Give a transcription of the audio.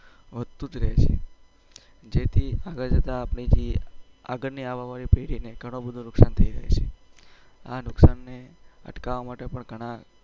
વધતું જ રહે છે જેથી આગળ જતા આગળની આવવાવાળી પેઢી ને ગણું બધું નુકસાન થઇ રહ્યું છે આ નુકસાનને અટકાવવા માટે